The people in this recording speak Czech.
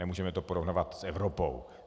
Nemůžeme to porovnávat s Evropou.